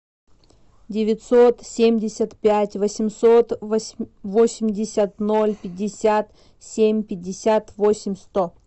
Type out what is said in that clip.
девятьсот семьдесят пять восемьсот восемьдесят ноль пятьдесят семь пятьдесят восемь сто